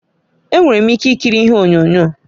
Enwere m ike ikiri ihe onyonyo